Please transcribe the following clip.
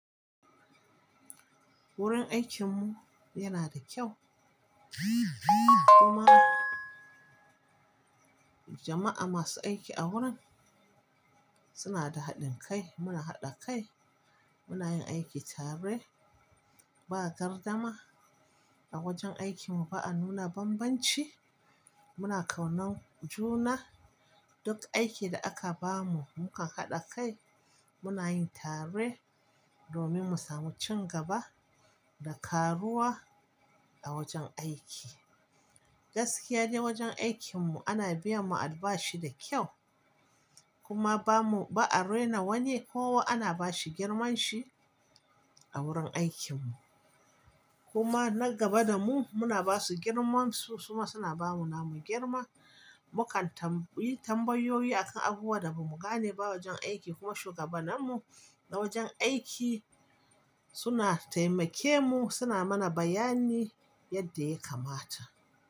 Wurin aikinmu yana da kyau kuma jama'a masu aiki a wurin suna da haɗin kai. Muna haɗa kai, muna yin aiki tare, ba gardama a wajen aikinmu, ba'a nuna bambanci. Muna kaunar juna, duk aikin da aka bamu muka haɗa kai, muna yin tare domin mu samu ci gaba da ƙaruwa a wajen aiki. Gaskiya de wajen aikinmu ana biya mu albashi da ƙyau kuma ba mu, ba'a rena wani, kowa ana bashi girmanshi a wurin aikinmu. Kuma na gaba da mu muna basu girmamansu kuma suna bamu namu girman. Mukan tambayi, tambayoyi akan abubuwan da ba mu gane ba wajen aiki kuma shugabanmu na wajen aiki suna taimake mu, suna mana bayani yadda ya kamata.